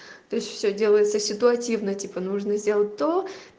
то есть всё делается ситуативно типа нужно сделать то